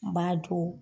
N b'a to